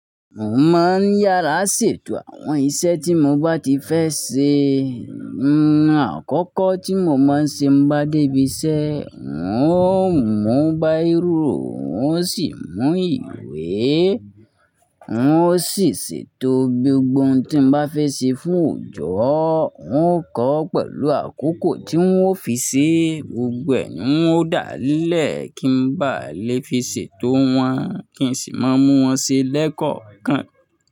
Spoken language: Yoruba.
Mo máa ń yàrá ṣètò àwọn iṣẹ́ tí mo bá ti fẹ́ ṣe. Àkókò tí mo máa ń ṣe nbá dé ibi iṣẹ́, n ó mú báirò, n ó sì mú ìwé, n ó sì ṣètò gbogbo ohun tí n bá fẹ́ ṣe fún òjò. N ó kọ́ ọ́ pẹ̀lú àkókò tí ń ó fi ṣe. Gbogbo ẹ̀ ni un dáa lẹ̀ kí ń bá lè fi ṣètò wọn kí n sì má mú wọn ṣe lẹ́kọ̀ọ̀kan.